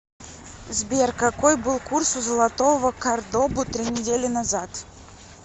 сбер какой был курс у золотого кордобу три недели назад